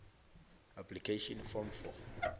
application form for